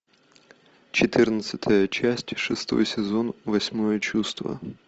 четырнадцатая часть шестой сезон восьмое чувство